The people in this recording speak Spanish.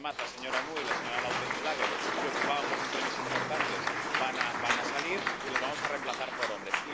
Ahora, además, la señora Nouy y la señora Lautenschläger, que ocupaban posiciones importantes, van a salir y las vamos a remplazar por hombres.